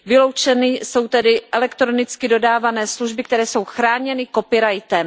Vyloučeny jsou tedy elektronicky dodávané služby, které jsou chráněny copyrightem.